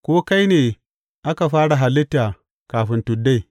Ko kai ne aka fara halitta kafin tuddai?